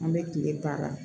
An bɛ kile ban a la